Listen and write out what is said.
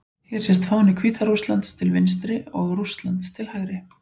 Hér sést fáni Hvíta-Rússlands til vinstri og Rússlands til hægri.